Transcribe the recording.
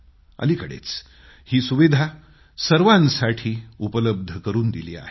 अलिकडेच ही सुविधा सर्वांसाठी उपलब्ध करून दिली आहे